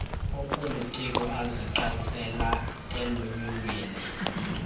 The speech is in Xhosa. opolitiko azigqatsela elunyulweni